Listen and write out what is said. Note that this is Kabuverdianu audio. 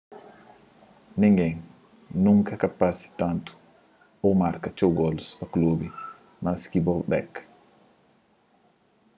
ningén nunka ka parse tantu ô marka txeu golus pa klubi más ki bobek